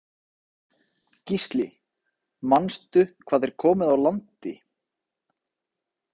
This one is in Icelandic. Gísli: Manstu hvað er komið á landi?